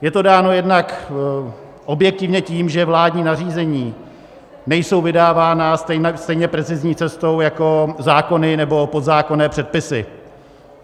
Je to dáno jednak objektivně tím, že vládní nařízení nejsou vydávána stejně precizní cestou jako zákony nebo podzákonné předpisy.